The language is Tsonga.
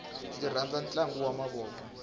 ndzi rhandza ntlangu wa mavoko